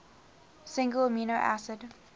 single amino acid